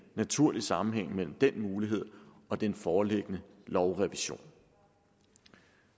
naturlig sammenhæng mellem den mulighed og den foreliggende lovrevision